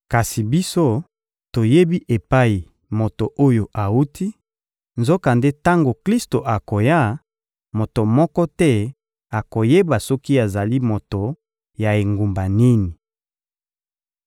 Kasi biso, toyebi epai moto oyo awuti; nzokande tango Klisto akoya, moto moko te akoyeba soki azali moto ya engumba nini!»